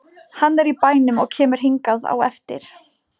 Hann er í bænum og kemur hingað á eftir.